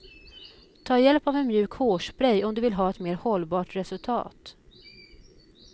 Ta hjälp av en mjuk hårspray om du vill ha ett mer hållbart resultat.